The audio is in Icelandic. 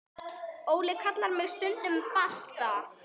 Óli kallar mig stundum Balta